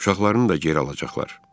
Uşaqlarını da geri alacaqlar.